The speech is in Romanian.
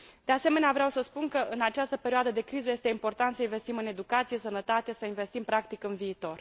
De asemenea, vreau să spun că în această perioadă de criză este important să investim în educație, sănătate, să investim practic în viitor.